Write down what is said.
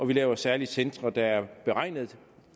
vi laver særlige centre der er beregnet